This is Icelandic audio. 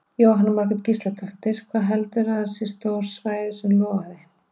Jóhanna Margrét Gísladóttir: Hvað heldurðu að sé stórt svæði sem logaði?